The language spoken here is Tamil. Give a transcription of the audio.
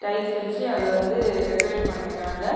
லைட்ஸ் வச்சி அத வந்து டெகரேஷ் பண்ணிருகாங்க.